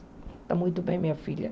Está muito bem, minha filha.